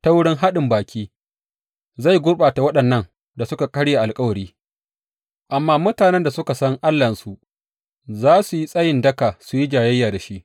Ta wurin daɗin baki zai gurɓata waɗannan da suka karya alkawari, amma mutanen da suka san Allahnsu za su yi tsayin daka su yi jayayya da shi.